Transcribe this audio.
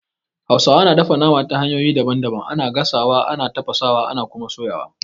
Hausawa na dafa nama ta hanyoyi daban daban, ana gasawa, ana tafasawa, ana Kuma soyawa